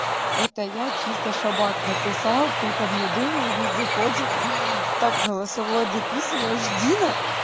это я чисто шабат написал ты там не думай виде ходит так голосовое дописываешь дина